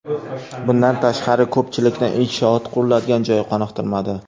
Bundan tashqari, ko‘pchilikni inshoot quriladigan joy qoniqtirmadi.